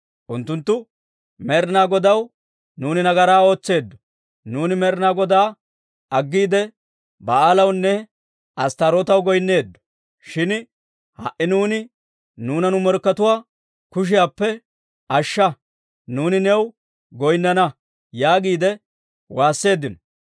Unttunttu Med'inaa Godaw, ‹Nuuni nagaraa ootseeddo; nuuni Med'inaa Godaa aggiide, Ba'aalawunne Asttaarootaw goynneeddo. Shin ha"i neeni nuuna nu morkkatuwaa kushiyaappe ashsha; nuuni new goynnana› yaagiide waasseeddino.